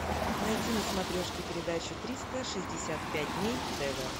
найти на смотрешке передачу триста шестьдесят пять дней тв